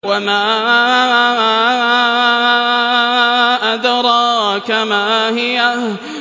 وَمَا أَدْرَاكَ مَا هِيَهْ